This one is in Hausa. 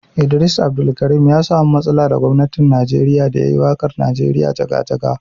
Idris Abdulkarim ya samu matsala da gwamnatin Najeriya da ya yi waƙar Najeriya jaga-jaga.